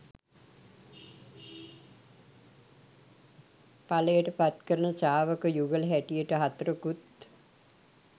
ඵලයට පත්කරන ශ්‍රාවක යුගල හැටියට හතරකුත්